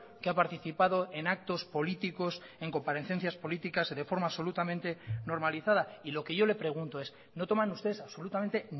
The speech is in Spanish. que ha participado en actos políticos en comparecencias políticas de forma absolutamente normalizada y lo que yo le pregunto es no toman ustedes absolutamente